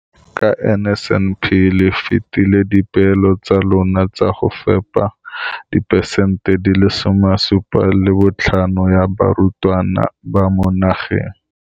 Ka NSNP le fetile dipeelo tsa lona tsa go fepa masome a supa le botlhano a diperesente ya barutwana ba mo nageng.